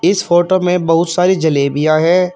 इस फोटो में बहुत सारी जलेबियां हैं।